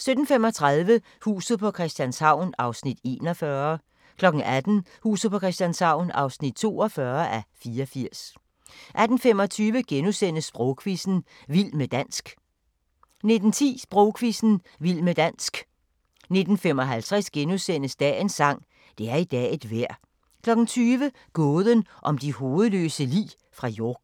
17:35: Huset på Christianshavn (41:84) 18:00: Huset på Christianshavn (42:84) 18:25: Sprogquizzen – Vild med dansk * 19:10: Sprogquizzen – Vild med dansk 19:55: Dagens sang: Det er i dag et vejr * 20:00: Gåden om de hovedløse lig fra York